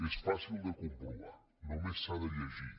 és fàcil de comprovar només s’ha de llegir